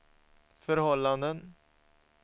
förhållanden